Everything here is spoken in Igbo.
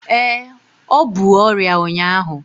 Ee, ọ bu ọrịa ụnyaahụ